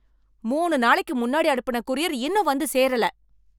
மூணு நாளைக்கு முன்னாடி அனுப்புன கூரியர் இன்னும் வந்து சேரல.